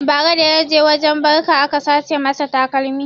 Bara da yaje wurin barka aka sace masa takalmi